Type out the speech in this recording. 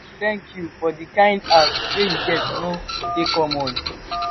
thank you for di kain heart wey you get e no dey common.